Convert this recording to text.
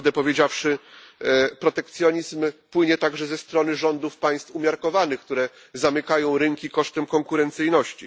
I prawdę powiedziawszy, protekcjonizm płynie także ze strony rządów państw umiarkowanych, które zamykają rynki kosztem konkurencyjności.